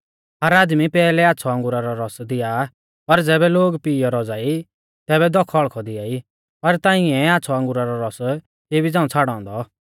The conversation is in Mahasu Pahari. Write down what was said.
हर आदमी पैहलै आच़्छ़ौ अंगुरा रौ रस दिया आ और ज़ैबै लोग पीईयौ रौज़ा ई तैबै दौख हौल़्कौ दिआई पर तांइऐ आ आच़्छ़ौ अंगुरा रौ रस इबी झ़ांऊ छ़ाड़ौ औन्दौ